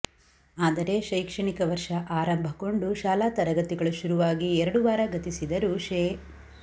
ಆದರೆ ಶೈಕ್ಷಣಿಕ ವರ್ಷ ಆರಂಭಗೊಂಡು ಶಾಲಾ ತರಗತಿಗಳು ಶುರುವಾಗಿ ಎರಡು ವಾರ ಗತಿಸಿದರೂ ಶೇ